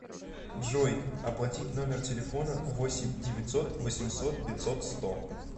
джой оплатить номер телефона восемь девятьсот восемьсот пятьсот сто